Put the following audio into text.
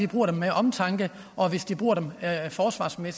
bruger den med omtanke og hvis de bruger den at forsvare sig med